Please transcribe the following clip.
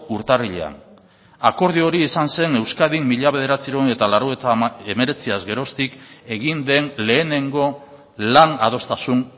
urtarrilean akordio hori izan zen euskadin mila bederatziehun eta laurogeita hemeretziaz geroztik egin den lehenengo lan adostasun